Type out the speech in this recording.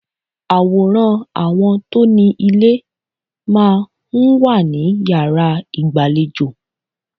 Àwòrán àwọn tó ni ilé máa ń wà ní yàrá ìgbàlejò.